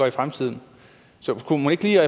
i fremtiden så kunne man ikke lige